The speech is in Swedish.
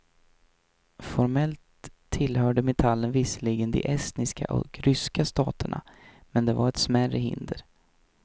Formellt tillhörde metallen visserligen de estniska och ryska staterna, men det var ett smärre hinder.